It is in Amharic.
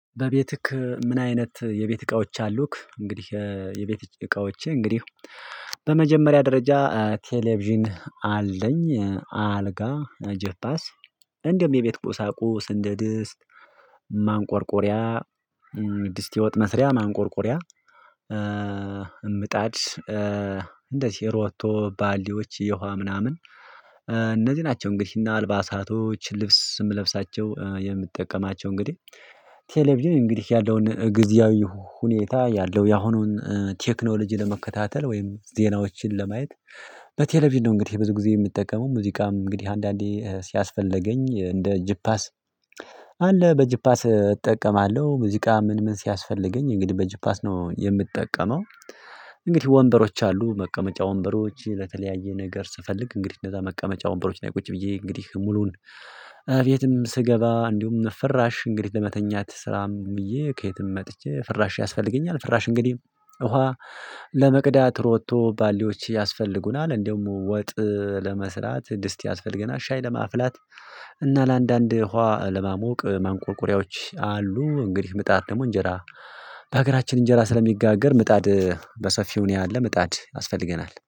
በቤትክ ምን አይነት የቤት እቃዎች አሉክ? እንግዲህ የቤት እቃዎቼ እንግዲህ በመጀመሪያ ደረጃ ቴሌቪዥን አለኝ አልጋ ጀፓስ እንደውም የቤት ቆሳቁስ እንደ ድስት ማንቆርቆሪያ ድስት የ ወጥ መስሪያ ማንቆርቆሪያ። ምጣድ እንደዚህ ሮቶ ባልዲዎች የውሃ ምናምን እነዚህ ናቸው። እንግዲህ እና አልባሳቶች ልብስ የምለብሳቸው የምጠቀማቸው እንግዲህ ቴሌቪዥን እንግዲህ ያለውን ጊዜያዊ ሁኔታ ያለው ያሁኑን ቴክኖሎጂ ለመከታተል ወይም ዜናዎችን ለማየት በቴሌቪዥን ነው። እንግዲህ ብዙ ጊዜ የምጠቀመው ሙዚቃም እንግዲህ አንዳንዴ ሲያስፈለገኝ እንደ ጅፓስ በጅፓስ እጠቀማለሁ ሙዚቃ ምን ምን ሲያስፈልገኝ እንግዲህ በጅፓስ ነው የምጠቀመው። እንግዲህ ወንበሮች አሉ መቀመጫ ወንበሮች ለተለያየ ነገር ስፈልግ እንግዲህ እንደዛ መቀመጫ ወንበሮች ነው። ቁጭ ብዬ እንግዲህ ሙሉውን ቤትም ስገባ እንዲሁም ፍራሽ እንግዲህ ለመተኛት ስራም ብዬ ከየትም መጥቼ ፍራሽ ያስፈልገኛል። ፍራሽ እንግዲህ ውሃ ለመቅዳት ሮቶ ባልዲዎች ያስፈልጉናል እንደውም ወጥ ለመስራት ድስት ያስፈልገናል ሻይ ለማፍላት እና ለአንዳንድ ውሃ ለማሞቅ ማንቆርቆሪያዎች አሉ። እንግዲህ ምጣድ ደግሞ እንጀራ በሀገራችን እንጀራ ስለሚጋገር ምጣድ በሰፊው እኔ አለ ምጣድ ያስፈልገናል